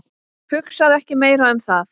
Hugsaðu ekki meira um það.